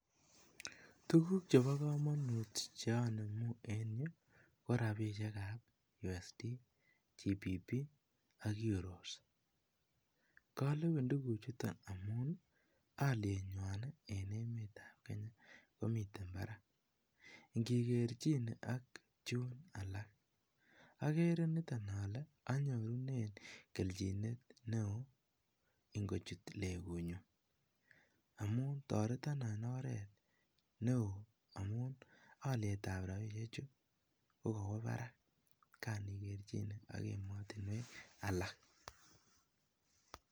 Tukuk chebokomonut cheonemu en yuu ko rabishekab USD, GPP, ak EUROS, kolewen tukuchuton amun olienywan en emetab Kenya komiten barak ing'ekerchine ak chuun alak, okere niton olee inyorunen kelchinet neoo ing'ochut legunyun amun toreton en oreet neoo amun olietab rabishechu ko kowo Barak kaan ikerchine ak emotinwek alak.